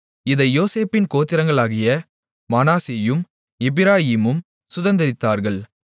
இதை யோசேப்பின் கோத்திரங்களாகிய மனாசேயும் எப்பிராயீமும் சுதந்தரித்தார்கள்